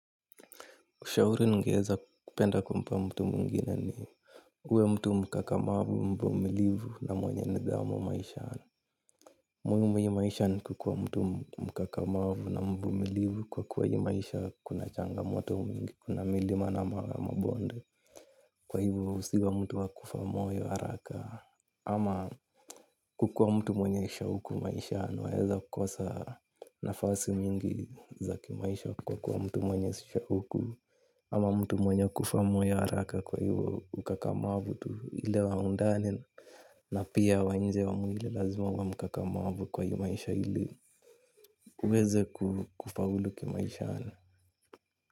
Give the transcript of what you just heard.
Ushauri ningeweza kumpa mtu mwingine ni uwe mtu mkakamavu, mvumilivu na mwenye nidhamu maishani. Muhimu haya maisha ni kuwa mtu mkakamavu na mvumilivu kwa kuwa haya maisha kuna changamoto nyingi, kuna milima na mabonde. Kwa hiyo usiwe mtu wa kufa moyo haraka. Ama kukuwa mtu mwanye shauku maishani, unaweza kukosa nafasi nyingi za maisha, kwa kuwa mtu mwenye shauku. Ama mtu mwenye kufa moyo haraka, kwa hivyo ukakamavu tu ule wa ndani na pia wa nje wa mwili lazima uwe ukakamavu kwa hivyo maisha hili uweze kufaulu maishani.